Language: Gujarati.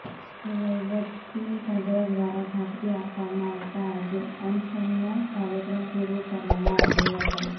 સાથે વહીવટી તંત્ર દ્વારા ખાતરી આપવામાં આવતા આજે અનશનનો કાર્યક્રમ પૂરો કરવામાં આવ્યો હતો